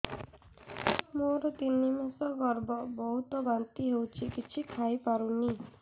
ମୋର ତିନି ମାସ ଗର୍ଭ ବହୁତ ବାନ୍ତି ହେଉଛି କିଛି ଖାଇ ପାରୁନି